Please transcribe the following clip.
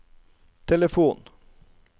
telefon